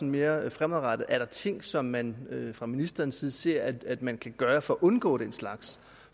mere fremadrettet er der ting som man fra ministerens side ser at at man kan gøre for at undgå den slags